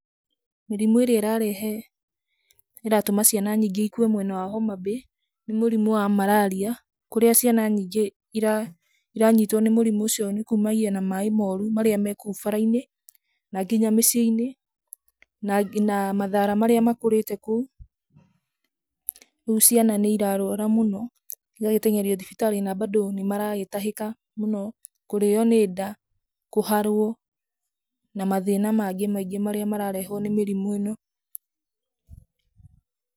Mĩrimũ ĩrĩa ĩrarehe, ĩratũma ciana nyingĩ ikue mwena wa Homabay nĩ mũrimũ wa mararia, kũrĩa ciana nyingĩ iranyitwo nĩ mũrimũ ũcio nĩ kumagia na maaĩ moru marĩa me kũu bara-inĩ na nginya mĩciĩ-inĩ na na mathaara marĩa makũrĩte kũu. Rĩu ciana nĩ irarwara mũno, cigagĩteng'erio thibitarĩ na mbandũ nĩ maragĩtahĩka mũno, kũrĩo nĩ nda, kũharwo na mathĩna mangĩ maingĩ marĩa mararehwo nĩ mĩrimũ ĩno.